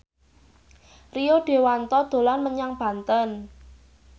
Rio Dewanto dolan menyang Banten